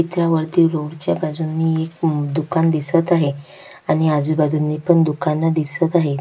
चित्रावरती रोडच्या बाजूनी एक दुकान दिसत आहे आणि आजूबाजूनी पण दुकान दिसत आहेत.